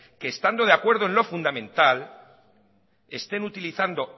que estando de acuerdo en lo fundamental estén utilizando